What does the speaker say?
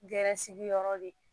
Gɛrɛsigi yɔrɔ de